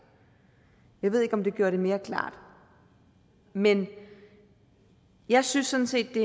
jeg ved ikke om det gjorde det mere klart men jeg synes sådan set det